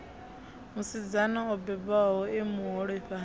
musidzana o bebwaho e muholefhali